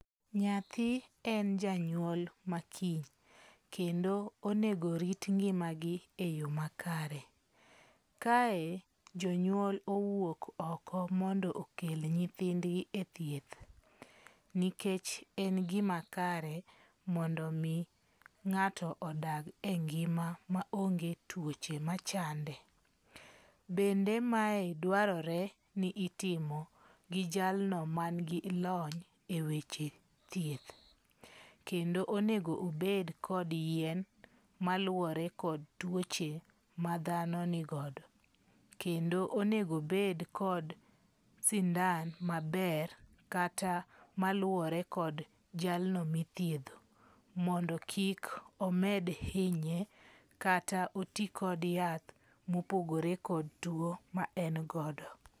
Nyathi en janyuol ma kiny, kendo onego orit ngima gi e yo makare. Kae jonyuol owuok oko mondo okel nyithindgi e thieth. Nikech en gima kare mondo mi ng'ato odag e ngima maonge tuoche machande. Bende mae dwarore ni itimo gi jalno man gi lony e weche thieth. Kendo onego obed kod yien maluwore kod tuoche ma dhano nigodo. Kendo onego obed kod sindan maber kata maluwore kod jalno mithiedho, mondo kik omed hinye kata oti kod yath mopogore kod tuo maen godo.